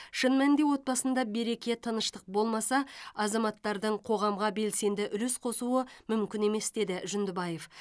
шын мәнінде отбасында береке тыныштық болмаса азаматтардың қоғамға белсенді үлес қосуы мүмкін емес деді жүндібаев